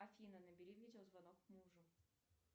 афина набери видеозвонок мужу